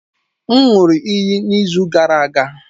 M ṅụụrụ iyi n'izu gara aga.